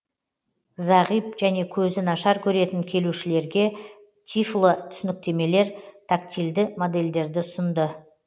зағип және көзі нашар көретін келушілерге тифло түсініктемелер тактильді модельдерді ұсынды